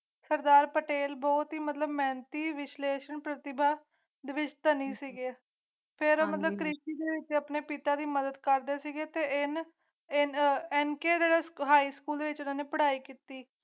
ਸਰਦਾਰ ਪਟੇਲ ਬਹੁਤ ਮਿਹਨਤੀ ਇਹ ਵਿਸ਼ਲੇਸ਼ਣ ਪ੍ਰਤਿਭਾ ਦ੍ਰਿਸਟਾਨੀ ਸ਼ੇਅਰ ਜੀ ਹਰਮਨਪ੍ਰੀਤ ਸਿੰਘ ਆਪਣੇ ਪਿਤਾ ਦੀ ਮਦਦ ਕਰ ਦਿੱਤੇ ਹਨ ਇਹਨਾਂ ਕਾਇਮ ਕੀਤੀ